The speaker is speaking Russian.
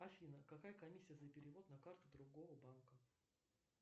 афина какая комиссия за перевод на карту другого банка